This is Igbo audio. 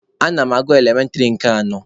Ana m agụ elementịrị nke anọ.